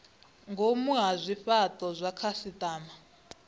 ngomu ha zwifhato zwa khasitama